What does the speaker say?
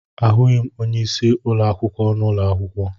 Ahụghị m onyeisi ụlọ akwụkwọ n'ụlọ akwụkwọ.